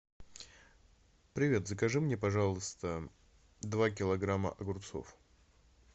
привет закажи мне пожалуйста два килограмма огурцов